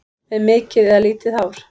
Með mikið eða lítið hár?